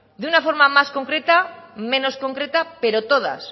de una forma más concreta menos concreta pero todas